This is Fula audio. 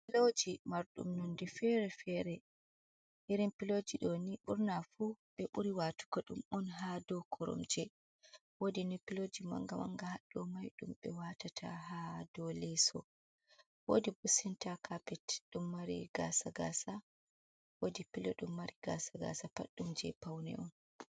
Piloji mardum nonde feere-feere. Irin piloji ɗo ni ɓurna fu ɓe ɓuri waatugo ɗum on haa dow koromje. Woodi ni piloji manga-manga haɗɗo mai ɗum ɓe waatata ha dow leeso. Woodi bo senta kapet ɗum mari gaasa-gaasa. Woodi pilo ɗum mari gaasa-gaasa pat ɗum je paune on.